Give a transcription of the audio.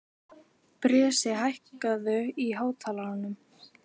Bresi, hækkaðu í hátalaranum.